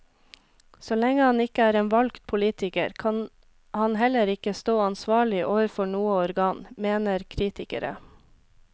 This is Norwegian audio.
Så lenge han ikke er en valgt politiker, kan han heller ikke stå ansvarlig overfor noe organ, mener kritikere.